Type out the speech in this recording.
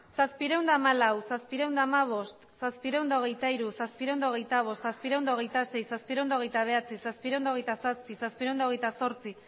zazpiehun eta hamalau zazpiehun eta hamabost zazpiehun eta hogeita hiru zazpiehun eta hogeita bost zazpiehun eta hogeita sei zazpiehun eta hogeita bederatzi zazpiehun eta hogeita zazpi zazpiehun eta hogeita zortzi